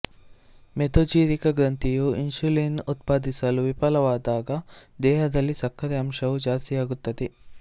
ಮೆದೊಜೀರಕ ಗ್ರಂಥಿಯು ಇನ್ಸುಲಿನ್ ಉತ್ಪಾದಿಸಲು ವಿಫಲವಾದಾಗ ದೇಹದಲ್ಲಿ ಸಕ್ಕರೆ ಅಂಶವು ಜಾಸ್ತಿಯಾಗುತ್ತದೆ